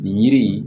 Nin yiri in